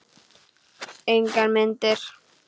Engar myndir.